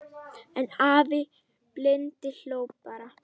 En afi blindi hló bara.